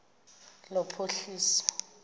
lophuhliso